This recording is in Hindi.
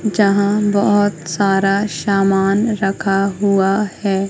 जहां बहोत सारा शामान रखा हुआ है।